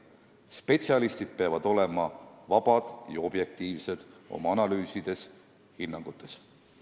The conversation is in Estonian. Spetsialistid peavad olema vabad ja objektiivsed oma analüüsides ja hinnangutes.